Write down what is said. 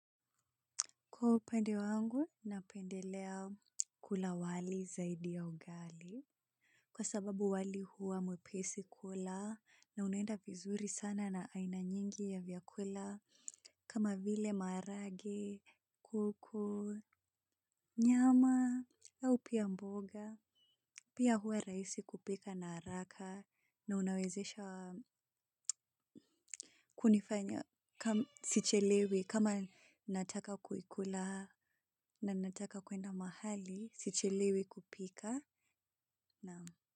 Kwa upande wangu, napendelea kula wali zaidi ya ugali. Kwa sababu wali huwa mwepesi kula na unaenda vizuri sana na aina nyingi ya vyakula kama vile marage, kuku, nyama, au pia mboga. Pia huwa rahisi kupika na haraka na unawezesha hunifanya sichelewi kama nataka kulikula na nataka kuenda mahali. Si chelewi kupika naam.